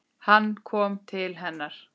Hann kom til hennar.